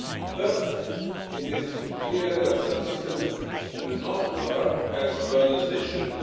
First, it is clear that some systems do not work as well as they should.